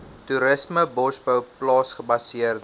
toerisme bosbou plaasgebaseerde